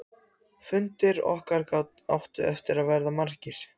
Hún hafði aldrei heyrt hann tala á þennan hátt.